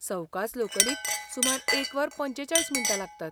सवकास लोकलीक सुमार एक वर पंचेचाळीस मिण्टां लागतात.